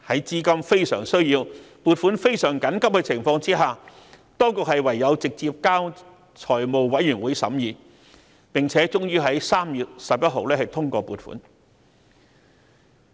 在亟需撥款的緊急情況下，當局唯有直接交由財委會審議，最後在3月11日通過撥款。